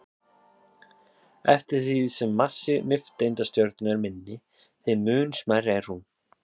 Eftir því sem massi nifteindastjörnu er minni, þeim mun smærri er hún.